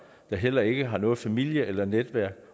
der heller ikke har noget familie eller netværk